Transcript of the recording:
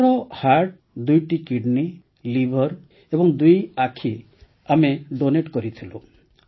ମାଙ୍କର ହର୍ଟ ଦୁଇଟି kidney liver ଏବଂ ଦୁଇ ଆଖି ଆମେ ଡୋନେଟ୍ କରିଥିଲୁ